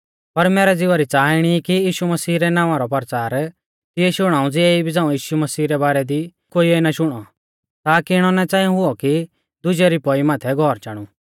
पर मैरै ज़िवा री च़ाहा इणी आ कि यीशु मसीह रै नावां रौ परचार तिऐ शुणाऊ ज़िऐ इबी झ़ाऊं यीशु मसीह रै बारै दी कोइऐ ना शुणौ ताकी इणौ ना च़ांई हुऔ कि दुजै री पौई माथै घौर चाणु